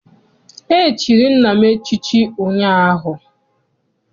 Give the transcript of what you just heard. E chiri nna m echichi ụnyaahụ.